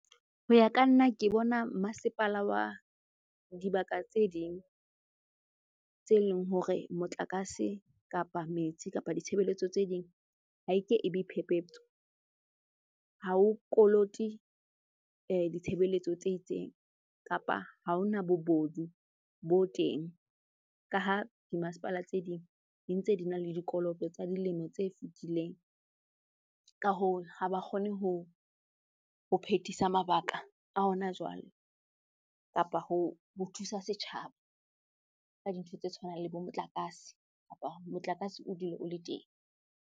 Ho ya ka nna ke bona masepala wa dibaka tse ding tse leng hore motlakase, kapa metsi, kapa ditshebeletso tse ding ha e ke e be phephetso. Ha o kolote ditshebeletso tse itseng kapa ha ho na bobodu bo teng, ka ha dimasepala tse ding di ntse di na le dikoloto tsa dilemo tse fetileng. Ka hoo, ha ba kgone ho phetisa mabaka a hona jwale kapa ho thusa setjhaba ka dintho tse tshwanang le bo motlakase kapa motlakase o dule o le teng.